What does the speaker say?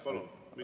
Jaa, palun!